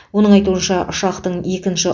оның айтуынша ұшақтың екінші